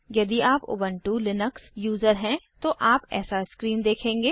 यदि आप Ubuntu Linux user हैं तो आप ऐसा स्क्रीन देखेंगे